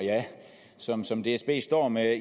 som som dsb står med